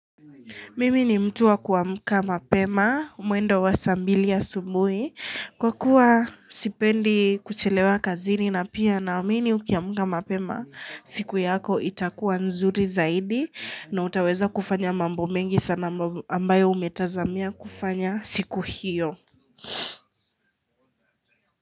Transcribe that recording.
Mimi ni mtu wa kuamka mapema, mwendo wa saa mbili ya asubuhi kwa kuwa sipendi kuchilewa kazini na pia na wamii ni ukiamuka mapema siku yako itakuwa nzuri zaidi na utaweza kufanya mambo mengi sana ambayo umetazamia kufanya siku hiyo.